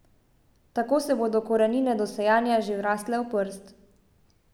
Tako se bodo korenine do sajenja že vrasle v prst.